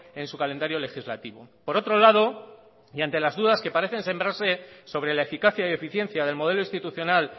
en su calendario legislativo por otro lado y ante las dudas que parecen sembrarse sobre la eficacia y eficiencia del modelo institucional